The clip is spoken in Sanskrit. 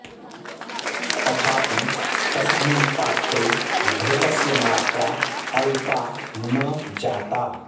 तथापि तस्मिन् पात्रे घृतस्य मात्रा अल्पा न जाता